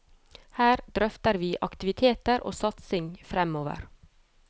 Her drøfter vi aktiviteter og satsing fremover.